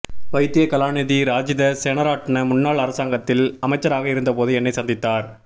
வைத்திய கலாநிதி ராஜித சேனராட்ண முன்னாள் அரசாங்கத்தில் அமைச்சராக இருந்தபோது என்னை சந்தித்தார்